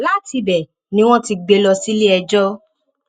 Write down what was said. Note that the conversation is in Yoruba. látìbẹ ni wọn ti gbé e lọ síléẹjọ